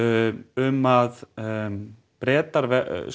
um að Bretar